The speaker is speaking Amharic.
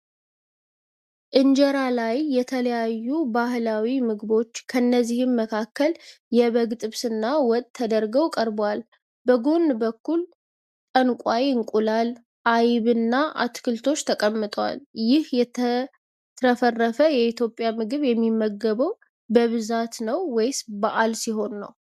ኢንጀራ ላይ የተለያዩ ባህላዊ ምግቦች፣ ከነዚህም መካከል የበግ ጥብስና ወጥ ተደርገው ቀርበዋል። በጎን በኩል ጠንቋይ እንቁላል፣ አይብና አትክልቶች ተቀምጠዋል። ይህ የተትረፈረፈ የኢትዮጵያ ምግብ የሚመገበው በብዛት ነው ወይስ በዓል ሲሆን?